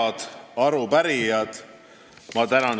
Head arupärijad!